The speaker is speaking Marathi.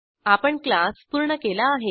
आपण क्लास पूर्ण केला आहे